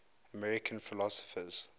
american philosophers